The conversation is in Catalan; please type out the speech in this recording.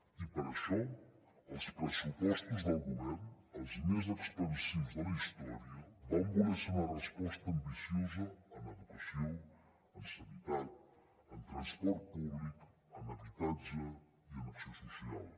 i per això els pressupostos del govern els més expansius de la història van voler ser una resposta ambiciosa en educació en sanitat en transport públic en habitatge i en acció social